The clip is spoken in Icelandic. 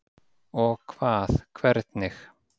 Og hvað. hvernig?